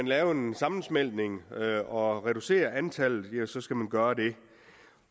lave en sammensmeltning og reducere antallet skal man gøre det